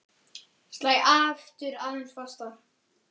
Slæ aftur aðeins fastar.